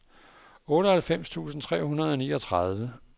otteoghalvfems tusind tre hundrede og niogtredive